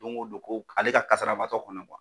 Don ko don ko ale ka kasarabaatɔ kɔnɔ kuwa